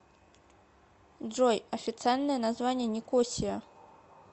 джой официальное название никосия